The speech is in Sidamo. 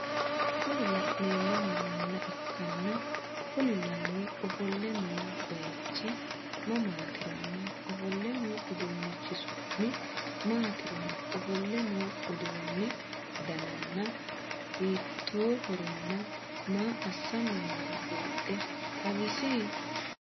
Kuni laneemohu manna ikkanna Kuni manni ofolle noo bayichi mammaatironna ofolle noo uduunnichi summi maatironna ofolle noo uduunni danana hiitoohoronna maa assanni nooro buuxxe xawisi?